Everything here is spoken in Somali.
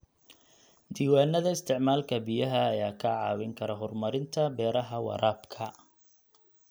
Diiwaanada isticmaalka biyaha ayaa kaa caawin kara horumarinta beeraha waraabka.